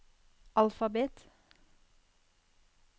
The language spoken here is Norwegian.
alfabet